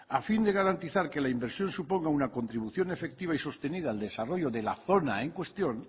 a fin de garantizar que la inversión suponga una contribución efectiva y sostenida al desarrollo de la zona en cuestión